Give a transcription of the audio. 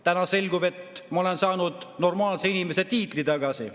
Täna selgub, et ma olen saanud normaalse inimese tiitli tagasi.